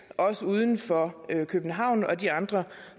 også uden for københavn og de andre